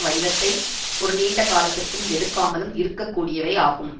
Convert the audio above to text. வடிவத்தை ஒரு நீண்ட காலத்திற்கும் எடுக்காமலும் இருக்க கூடியவை ஆகும்